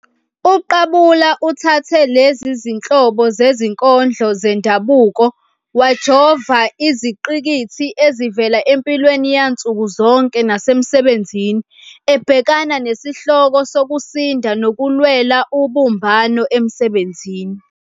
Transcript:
UQabula uthathe lezi zinhlobo zezinkondlo zendabuko wajova izingqikithi ezivela empilweni yansuku zonke nasemsebenzini, ebhekana nezihloko zokusinda nokulwela ubumbano emsebenzini.